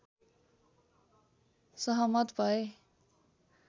सहमत भए